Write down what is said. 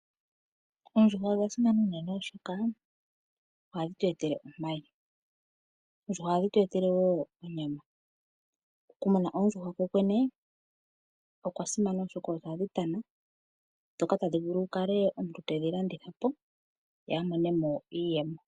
Oondjuhwa odha simana unene oshoka ohadhi tu etele omayi, oondjuhwa ohadhi tu etelewo onyama. Oku muna oondjuhwa ko kwene okwa simana oshoka ohadhi tana nomuntu ota vulu okudhi landithapo opo amone iiyemo.